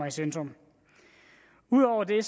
i centrum ud over det